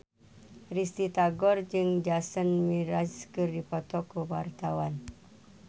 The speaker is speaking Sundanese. Risty Tagor jeung Jason Mraz keur dipoto ku wartawan